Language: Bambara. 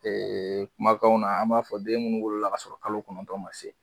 Ɛɛ kumakanw na an b'a fɔ den minnu wolola k'a sɔrɔ kalo kɔnɔntɔn ma se